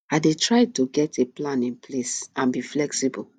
i dey try to get a plan in place and be flexible